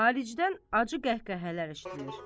Xaricdən acı qəhqəhələr eşitdiyir.